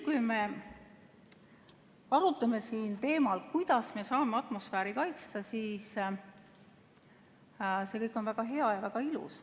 Kui me arutame siin teemal, kuidas me saame atmosfääri kaitsta, siis see kõik on väga hea ja väga ilus.